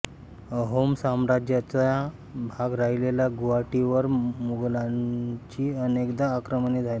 आहोम साम्राज्याचा भाग राहिलेल्या गुवाहाटीवर मुघलांची अनेकदा आक्रमणे झाली